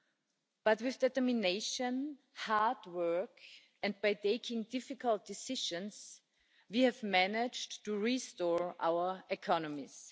However, with determination and hard work and by taking difficult decisions, we have managed to restore our economies.